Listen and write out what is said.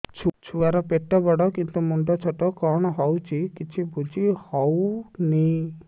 ଛୁଆର ପେଟବଡ଼ କିନ୍ତୁ ମୁଣ୍ଡ ଛୋଟ କଣ ହଉଚି କିଛି ଵୁଝିହୋଉନି